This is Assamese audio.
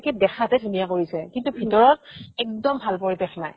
দেখাতহে ধুনীয়া কৰিছে কিন্তু ভিতৰত একদম ভাল পৰিৱেশ নাই